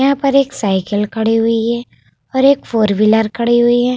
यहाँ पर एक साईकिल खड़ी हुई है और एक फोर व्हीलर खड़ी हुई है।